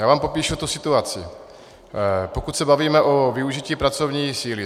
Já vám popíšu tu situaci, pokud se bavíme o využití pracovní síly.